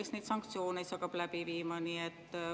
Kes neid sanktsioone hakkab läbi viima?